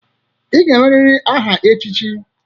Ịga-enweriri aha echichi.